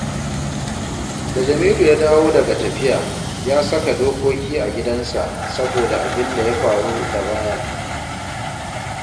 Da Jamilu ya dawo daga tafiya, ya saka dokoki a gidansa, saboda abin da ya faru da ba ya nan